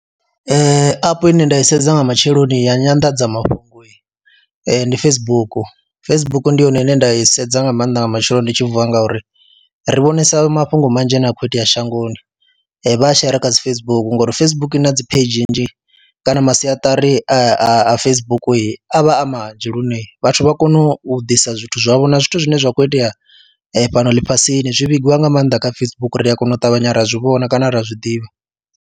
Ee, app ine nda i sedza nga matsheloni ya nyanḓadzamafhungo ndi Facebook, Facebook ndi yone ine nda i sedza nga maanḓa nga matsheloni ndi tshi vuwa ngauri ri vhonesa mafhungo manzhi ane a khou itea shangoni, vha a shera kha dzi Facebook ngori Facebook i na dzi pheidzhi nnzhi kana masiaṱari a a Facebook a vha a manzhi lune vhathu vha kone u ḓisa zwithu zwavho na zwithu zwine zwa khou itea fhano ḽifhasini zwi vhigwa nga maanḓa kha Facebook ri a kona u ṱavhanya ra zwi vhona kana ri a zwi ḓivha.